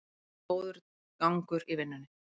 Það er góður gangur í vinnunni